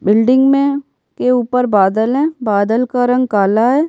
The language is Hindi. बिल्डिंग में के ऊपर बादल हैं बादल का रंग काला है।